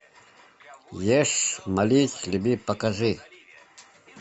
ешь молись люби покажи